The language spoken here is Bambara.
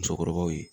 Musokɔrɔbaw ye